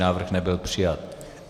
Návrh nebyl přijat.